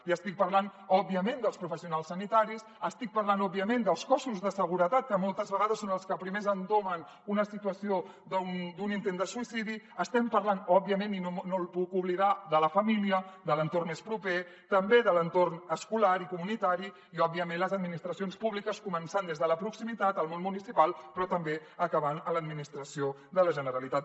li estic parlant òbviament dels professionals sanitaris estic parlant òbviament dels cossos de seguretat que moltes vegades són els que primer entomen una situació d’un intent de suïcidi estem parlant òbviament i no ho puc oblidar de la família de l’entorn més proper també de l’entorn escolar i comunitari i òbviament les administracions públiques començant des de la proximitat el món municipal però també acabant a l’administració de la generalitat